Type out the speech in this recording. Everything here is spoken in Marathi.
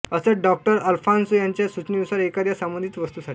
असत डॉ अल्फान्सो यांच्या सूचनेनुसार एखाद्या संबंधित वस्तूसाठी